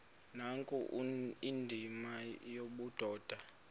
nkulu indima yobudoda